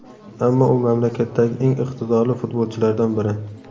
Ammo u mamlakatdagi eng iqtidorli futbolchilardan biri.